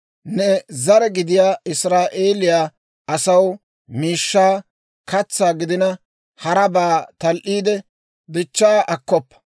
«Ne zare gidiyaa Israa'eeliyaa asaw miishshaa, katsaa gidina harabaa tal"aade dichchaa akkoppa.